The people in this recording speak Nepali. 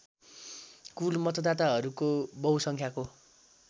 कुल मतदाताहरूको बहुसङ्ख्याको